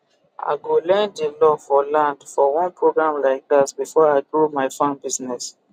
i go learn di law for land for one programe like that before i grow my farm business